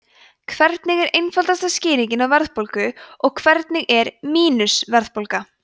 hvernig er einfaldasta skýringin á verðbólgu og hvernig er „mínus“ verðbólga